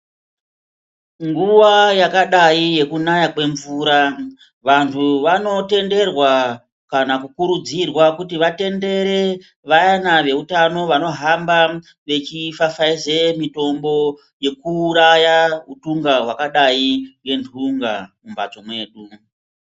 Nguwa yakadai yekunaya kwemvura ,vantu vanotenderwa kana kukurudzirwa kuti vatendere vayana veutano vanohamba vechipfapfaidze mitombo yekuuraya utungq hwakqdqi ngentunga mumbatso mwedu.